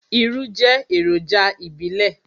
Irú jẹ́ èròjà ìbílẹ̀.